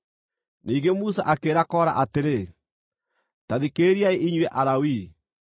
Ningĩ Musa akĩĩra Kora atĩrĩ, “Ta thikĩrĩriai inyuĩ Alawii!